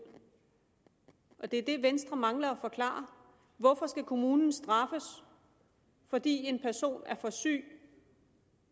det er det venstre mangler at forklare hvorfor skal kommunen straffes fordi en person er for syg